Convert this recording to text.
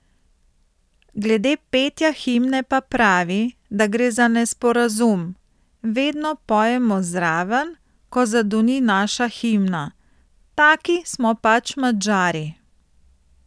Glede petja himne pa pravi, da gre za nesporazum: 'Vedno pojemo zraven, ko zadoni naša himna, taki smo pač Madžari.